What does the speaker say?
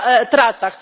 trasach.